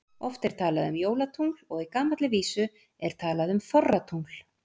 Oft er talað um jólatungl og í gamalli vísu er talað um þorratungl.